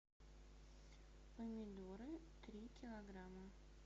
помидоры три килограмма